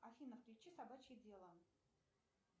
афина включи собачье дело